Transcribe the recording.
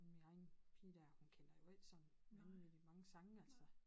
Min egen pige dér hun kender jo ikke sådan vanvittigt mange sange altså